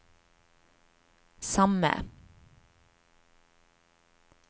samme